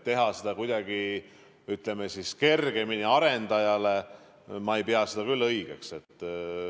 Teha seda kuidagi kergemaks arendajale – ma ei pea seda küll õigeks.